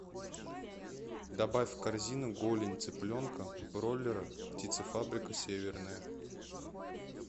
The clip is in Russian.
добавь в корзину голень цыпленка бройлера птицефабрика северная